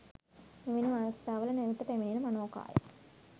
මෙවැනි අවස්ථාවල නැවත පැමිණෙන මනෝකාය